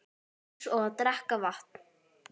Eins og að drekka vatn.